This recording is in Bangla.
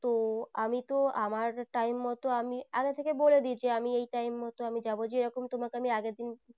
তো আমি তো আমার time মতো আমি আগে বলে দিয়েছি আমি এই time মতো যাবো যেরকম তোমাকে আমি আগের দিন